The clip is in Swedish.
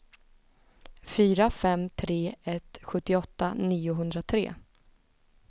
fyra fem tre ett sjuttioåtta niohundratre